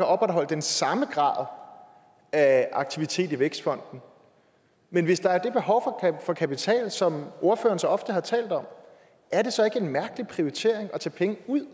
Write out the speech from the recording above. opretholde den samme grad af aktivitet i vækstfonden men hvis der er det behov for kapital som ordføreren så ofte har talt om er det så ikke en mærkelig prioritering at tage penge ud